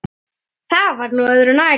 Það var nú öðru nær.